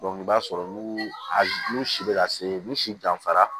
i b'a sɔrɔ n'u si bɛ ka se n'u si danfara